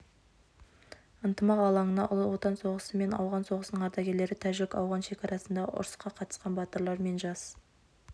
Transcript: ынтымақ алаңына ұлы отан соғысы мен ауған соғысының ардагерлері тәжік-ауған шекарасындағы ұрысқа қатысқан батырлар мен жас